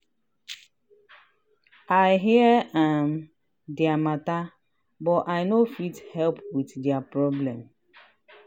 i hear um dia matter but i no fit help with dia problem.